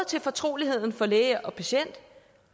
til fortroligheden for læge og patient